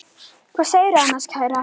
Hvað segirðu annars, kæra?